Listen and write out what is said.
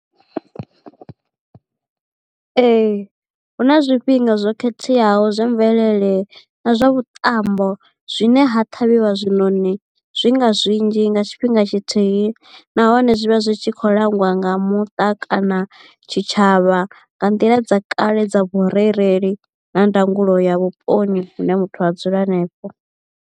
Ee hu na zwifhinga zwo khetheaho zwa mvelele na zwa vhuṱambo zwine ha ṱhavhiwa zwiṋoni zwi nga zwinzhi nga tshifhinga tshithihi nahone zwi vha zwi tshi kho langiwa nga muṱa kana tshitshavha nga nḓila dza kale dza vhurereli na ndangulo ya vhuponi hune muthu a dzula hanefho.